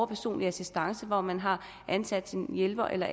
personlig assistance hvor man har ansat en hjælper eller